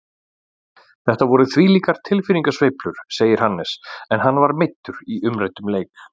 Þetta voru þvílíkar tilfinningasveiflur, segir Hannes en hann var meiddur í umræddum leik.